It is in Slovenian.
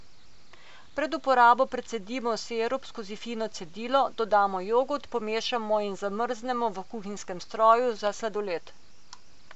Pred uporabo precedimo sirup skozi fino cedilo, dodamo jogurt, pomešamo in zamrznemo v kuhinjskem stroju za sladoled.